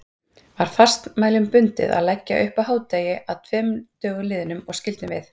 Var fastmælum bundið að leggja upp á hádegi að tveim dögum liðnum, og skyldum við